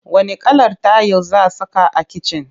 Wanne kalar tayil za saka a kicin?